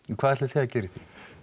hvað ætlið þið að gera í því